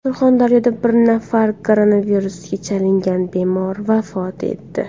Surxondaryoda bir nafar koronavirusga chalingan bemor vafot etdi.